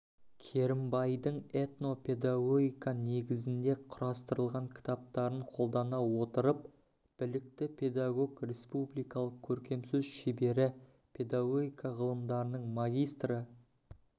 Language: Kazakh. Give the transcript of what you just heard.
керімбайдың этно-педагогика негізінде құрастырылған кітаптарын қолдана отырып білікті педагог республикалық көркемсөз шебері педагогика ғылымдарының магистрі